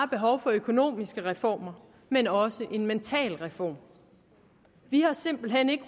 behov for økonomiske reformer men også for en mentalreform vi har simpelthen ikke